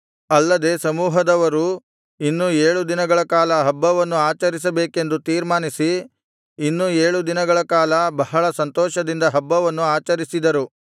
ಅಲ್ಲದೆ ಸಮೂಹದವರು ಇನ್ನೂ ಏಳು ದಿನಗಳ ಕಾಲ ಹಬ್ಬವನ್ನು ಆ ಆಚರಿಸಬೇಕೆಂದು ತೀರ್ಮಾನಿಸಿ ಇನ್ನೂ ಏಳು ದಿನಗಳ ಕಾಲ ಬಹಳ ಸಂತೋಷದಿಂದ ಹಬ್ಬವನ್ನು ಆಚರಿಸಿದರು